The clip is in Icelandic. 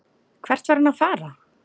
Hvert var hann að fara?